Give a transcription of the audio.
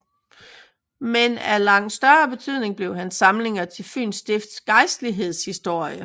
Men af langt større betydning blev hans samlinger til Fyns Stifts gejstligheds historie